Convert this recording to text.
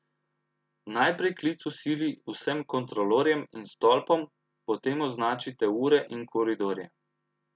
Najprej klic v sili vsem kontrolorjem in stolpom, potem označite ure in koridorje.